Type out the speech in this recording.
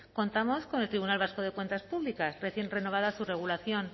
contamos con el tribunal vasco de cuentas públicas recién renovada su regulación